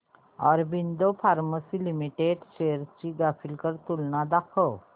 Aurobindo pharma limited shares ची graphical तुलना दाखव